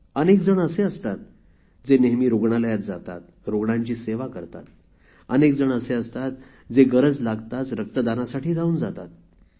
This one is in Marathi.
अनेक जण असे असतात जे नेहमी रुग्णालयात जातात रुग्णांची सेवा करतात अनेक जण असे असतात जे गरज लागताच रक्तदानासाठी धावून जातात